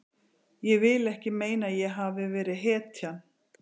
Ég vil ekki meina að ég hafi verið hetjan.